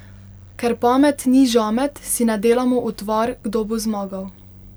Ker pamet ni žamet, si ne delamo utvar, kdo bo zmagal.